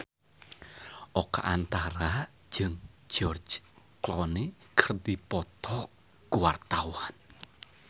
Oka Antara jeung George Clooney keur dipoto ku wartawan